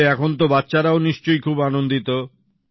তাহলে এখন তো বাচ্চারাও নিশ্চয়ই খুব আনন্দিত